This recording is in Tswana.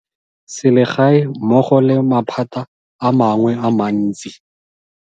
Sele gae mmogo le maphata a mangwe a mantsi.